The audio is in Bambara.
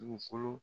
Dugukolo